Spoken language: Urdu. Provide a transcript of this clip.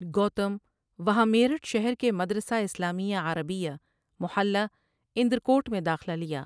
گوتم وہاں میرٹھ شہرکےمدرسہ اسلامیہ عربیہ محلہ اندرکوٹ میں داخلہ لیا ۔